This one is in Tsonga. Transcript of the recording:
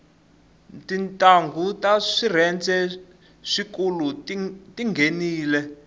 tintnghu ta swirhende swikulu tinghenile